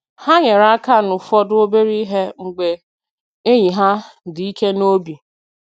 Ha nyere aka n’ụfọdụ obere ihe mgbe enyi ha dị ike n’obi.